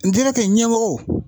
ɲɛmɔgɔw